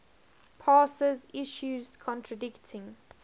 passes issues contradicting